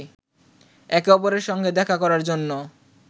একে অপরের সঙ্গে দেখা করার জন্য